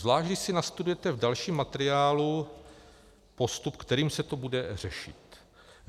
Zvlášť když si nastudujete v dalším materiálu postup, kterým se to bude řešit.